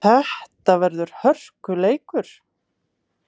Þetta verður hörkuleikur!